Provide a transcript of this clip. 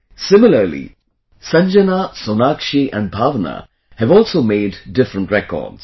Similarly, Sanjana, Sonakshi and Bhavna have also made different records